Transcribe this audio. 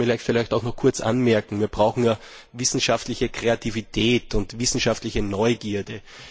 Lassen Sie mich vielleicht noch einmal kurz anmerken Wir brauchen ja wissenschaftliche Kreativität und wissenschaftliche Neugierde.